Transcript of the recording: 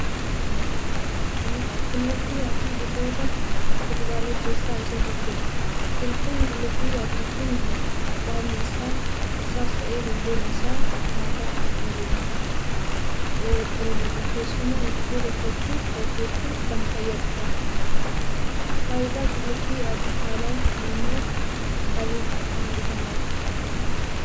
Qullubbii adiin gosoota kuduraalee keessaa isa tokkodha. biqiltuun qullubbii adii kun baalli isaas ta'ee hundeen isaa nyaataaf kan ooludha keessuma ittoo hojjechuuf kan fayyadudha. Faayidaa qullubbii adiin dhala namaaf qabu maalidha?